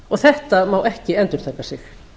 umræða þetta má ekki endurtaka sig